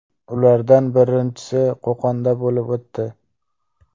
Ulardan birinchisi Qo‘qonda bo‘lib o‘tdi.